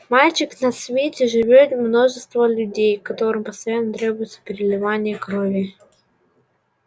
мальчик на свете живёт множество людей которым постоянно требуется переливание крови